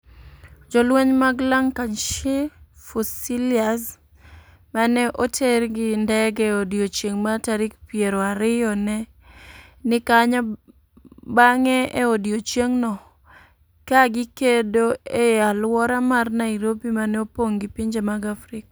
Jolweny mag Lancashire Fusiliers, ma ne oter gi ndege e odiechieng' mar tarik piero ariyo ne ni kanyo bang'e e odiechieng'no, ka gikedo e alwora mar Nairobi ma ne opog gi pinje mag Afrika.